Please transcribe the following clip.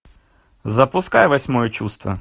запускай восьмое чувство